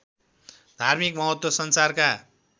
धार्मिक महत्त्व संसारका